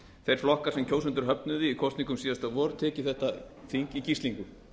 þeir flokkar sem kjósendur höfnuðu í kosningum síðasta vor tekið þetta þing í gíslingu